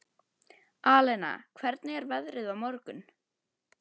Alena, hvernig er veðrið á morgun?